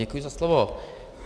Děkuji za slovo.